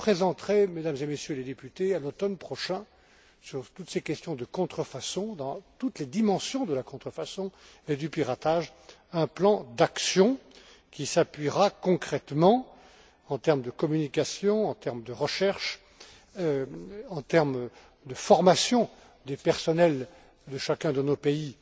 Je présenterai, Mesdames et Messieurs les députés, à l'automne prochain, sur toutes ces questions de contrefaçon, dans toutes les dimensions de la contrefaçon et du piratage, un plan d'action qui s'appuiera concrètement, en termes de communication, de recherche, et de formation des personnels de chacun de nos pays